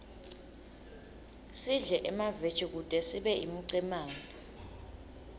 sidle emaveji kute sibe imicemane